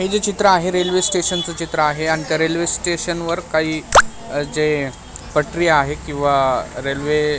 हे जे चित्र आहे रेल्वे स्टेशन च चित्र आहे आणि रेल्वे स्टेशन वर काही जे पटरी आहे किंवा रेल्वे --